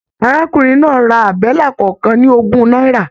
Arákùnrin náà rà àbẹ́là kọọkan ní ogún náírà.